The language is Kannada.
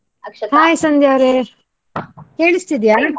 Hai ಸಂಧ್ಯಾ ಅವ್ರೆ ಕೇಳಿಸ್ತಿದ್ಯಾ?